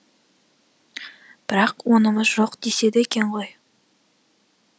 бірақ онымыз жоқ деседі екен ғой